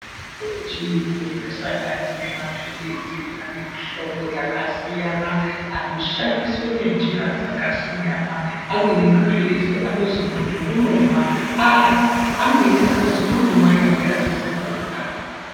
Mitombo yechiyungu inosanganise maphilizi anemihlobo yakasiyana, anoshandiswa ngenjira dzakasiyana. Amweni maphilizi anozi muntu unomwa arya, amweni anozi muntu unomwa nyangwe asizi kurya